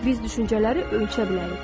Biz düşüncələri ölçə bilərik.